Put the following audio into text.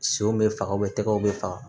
Senw bɛ faga tɛgɛw be faga